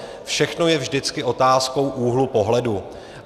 Všechno je vždycky otázkou úhlu pohledu.